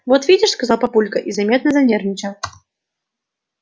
вот видишь сказал папулька и заметно занервничал